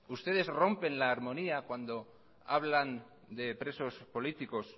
ustedes rompen la armonía cuando hablan de presos políticos